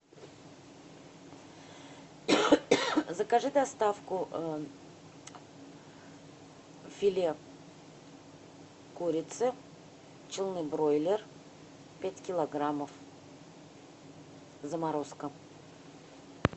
закажи доставку филе курицы челны бройлер пять килограммов заморозка